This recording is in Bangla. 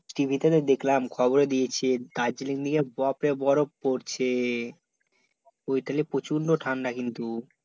TV তো দেখলাম খবরে দিয়েছে, দার্জিলিং নিয়ে বপরে বরফ পরছে, ঐ তাইলে প্রচণ্ড ঠাণ্ডা কিন্তু